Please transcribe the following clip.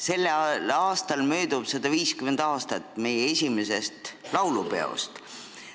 Sellel aastal möödub 150 aastat meie esimesest laulupeost.